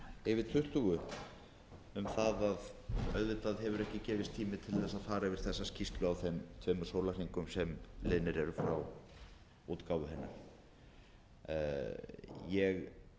yfir tuttugu um að auðvitað hefur ekki gefist tími til að fara yfir þessa skýrslu á þeim tveimur sólarhringum sem liðnir eru frá útgáfu hennar ég